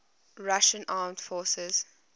russian armed forces